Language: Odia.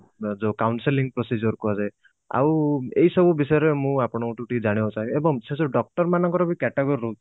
ଯୋଉ counselling procedure କୁହାଯାଏ ଆଉ ଏଇ ସବୁ ବିଷୟରେ ମୁଁ ଆପଣଙ୍କ ଠୁ ଟିକେ ଜାଣିବାକୁ ଚାହିଁ ବି ଏବଂ ସେ ସବୁ doctor ମାନଙ୍କର ବି category ରହୁଛି